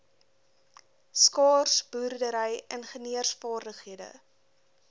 skaars boerdery ingenieursvaardighede